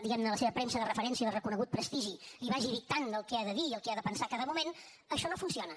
diguem ne la seva premsa de referència de reconegut prestigi li vagi dictant el que ha de dir i el que ha de pensar en cada moment això no funciona